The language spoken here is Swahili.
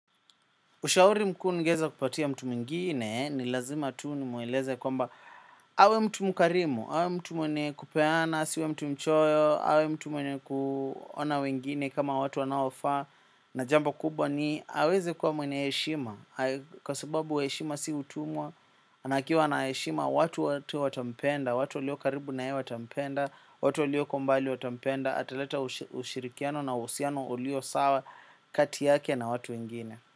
Ushauri mkuu ningeeza kupatia mtu mwingine ni lazima tu nimweleze kwamba awe mtu mkarimu, awe mtu mwenye kupeana, asiwe mtu mchoyo, awe mtu mwenye kuona wengine kama watu wanaofaa na jambo kubwa ni aweze kuwa mwenye heshima, kwa sababu heshima si utumwa na akiwa na heshima watu wote watampenda, watu walio karibu naye watampenda watu walio kwa umbali watampenda, ataleta ushirikiano na usiano ulio sawa kati yake na watu wengine.